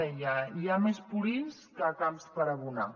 deia hi ha més purins que camps per adobar